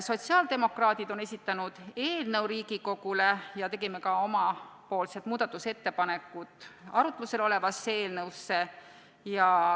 Sotsiaaldemokraadid on esitanud eelnõu Riigikogule ja tegime ka oma muudatusettepanekud arutluse all olevasse eelnõusse.